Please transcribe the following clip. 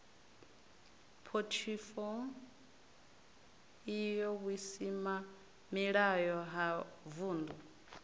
phothifo io vhusimamilayo ha vundu